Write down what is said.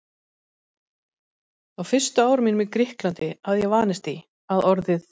Á fyrstu árum mínum í Grikklandi hafði ég vanist því, að orðið